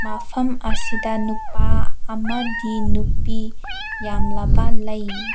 ꯃꯐꯝ ꯑꯁꯤꯗ ꯅꯨꯄꯥ ꯑꯃꯗꯤ ꯅꯨꯄꯤ ꯌꯥꯝꯂꯕ ꯂꯩ꯫